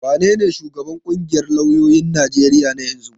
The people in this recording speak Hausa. Wanene shugaban ƙungiyar lauyoyin Najeriya na yanzu?